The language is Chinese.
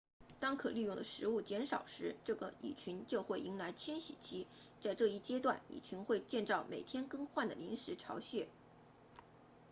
当可利用的食物减少时这个蚁群就会迎来迁徙期在这一阶段蚁群会建造每天更换的临时巢穴